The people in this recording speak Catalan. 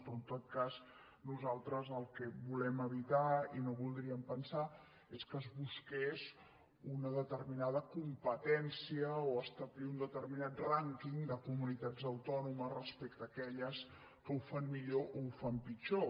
però en tot cas nosaltres el que volem evitar i no voldríem pensar és que es busqués una determinada competència o establir un determinat rànquing de comunitats autònomes respecte a aquelles que ho fan millor o ho fan pitjor